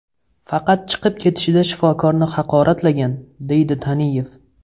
Faqat chiqib ketishida shifokorni haqoratlagan, deydi Taniyev.